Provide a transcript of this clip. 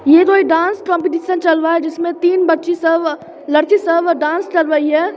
यह कोई dance competition चल रहा है जिसमें तीन बच्ची सब लड़की सब डांस कर रही है ।